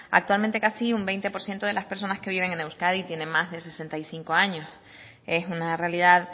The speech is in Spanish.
actualmente casi un veinte por ciento de las personas que viven en euskadi tienen más de sesenta y cinco años es una realidad